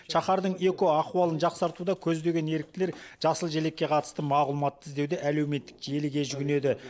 шаһардың экоахуалын жақсартуды көздеген еріктілер жасыл желекке қатысты мағлұматты іздеуде әлеуметтік желіге жүгінеді